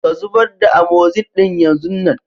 Ka zubar da " Amoxin " din yan zun nan.